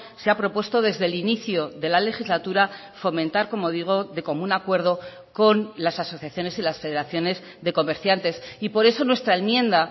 se ha propuesto desde el inicio de la legislatura fomentar como digo de común acuerdo con las asociaciones y las federaciones de comerciantes y por eso nuestra enmienda